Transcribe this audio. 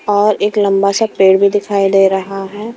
और एक लंबा सा पेड़ भी दिखाई दे रहा है।